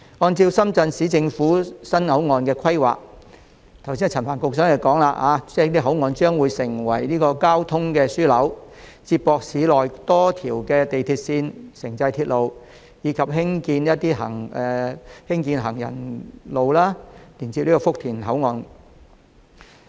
按照深圳市人民政府的新口岸規劃，正如陳帆局長剛才所說，該口岸將成為交通樞紐，接駁市內多條地鐵線、城際鐵路，以及興建行人路連接福田口岸。